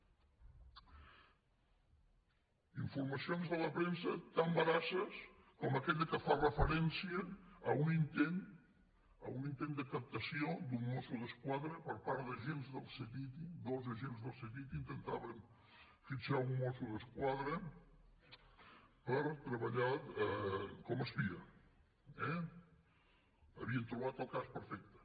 informacions de la premsa tan veraces com aquella que fa referència a un intent de captació d’un mosso d’esquadra per part d’agents del ctti dos agents del ctti intentaven fitxar un mosso d’esquadra per treballar com a espia eh havien trobat el cas perfecte